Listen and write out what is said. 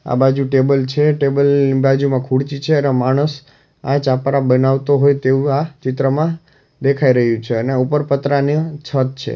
આ બાજુ ટેબલ છે ટેબલ ની બાજુમાં ખુરચી છે અને માણસ આ ચાપરા બનાવતો હોય તેવુ આ ચિત્રમાં દેખાઈ રહ્યુ છે અને ઉપર પતરાની છત છે.